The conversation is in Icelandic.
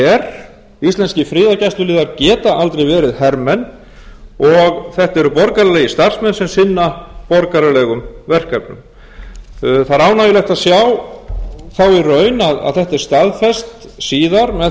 her íslenskir friðargæsluliðar geta aldrei verið hermenn og þetta eru borgaralegir starfsmenn sem sinna borgaralegum verkefnum það er ánægjulegt að sjá þá í raun að þetta er staðfest síðar með